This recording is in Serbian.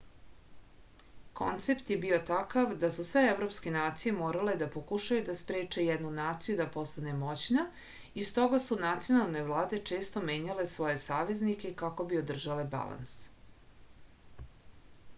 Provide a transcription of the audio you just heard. koncept je bio takav da su sve evropske nacije morale da pokušaju da spreče jednu naciju da postane moćna i stoga su nacionalne vlade često menjale svoje saveznike kako bi održale balans